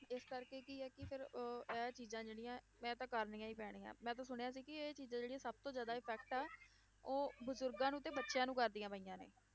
ਇਸ ਕਰਕੇ ਕੀ ਹੈ ਕਿ ਫਿਰ ਅਹ ਇਹ ਚੀਜ਼ਾਂ ਜਿਹੜੀਆਂ ਮੈਂ ਤਾਂ ਕਰਨੀਆਂ ਹੀ ਪੈਣੀਆਂ ਹੈ, ਮੈਂ ਤਾਂ ਸੁਣਿਆ ਸੀ ਕਿ ਇਹ ਚੀਜ਼ਾਂ ਜਿਹੜੀਆਂ ਸਭ ਤੋਂ ਜ਼ਿਆਦਾ effect ਆ ਉਹ ਬਜ਼ੁਰਗਾਂ ਨੂੰ ਤੇ ਬੱਚਿਆਂ ਨੂੰ ਕਰਦੀਆਂ ਪਈਆਂ ਨੇ,